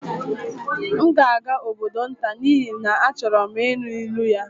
M ga-aga obodo nta n'ihi na achọrọ m ịnụ ilu ya